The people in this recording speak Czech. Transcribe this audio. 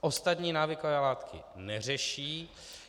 Ostatní návykové látky neřeší.